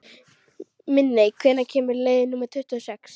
Minney, hvenær kemur leið númer tuttugu og sex?